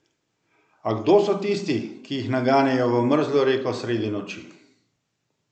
A kdo so tisti, ki jih naganjajo v mrzlo reko sredi noči?